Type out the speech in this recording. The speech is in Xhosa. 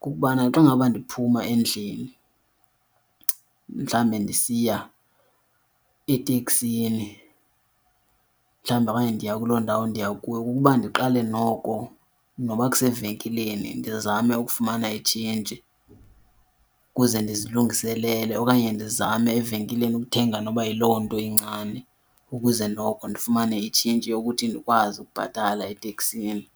kukubana xa ngaba ndiphuma endlini, mhlawumbi ndisiya eteksini, mhlawumbi okanye ndiya kuloo ndawo ndiya kuyo, kukuba ndiqale noko noba kusevenkileni ndizame ukufumana itshintshi ukuze ndizilungiselele. Okanye ndizame evenkileni ukuthenga noba yiloo nto incane ukuze noko ndifumane itshintshi yokuthi ndikwazi ukubhatala eteksini.